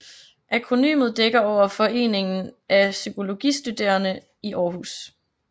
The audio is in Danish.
Akronymet dækker over Foreningen Af Psykologistuderende I Aarhus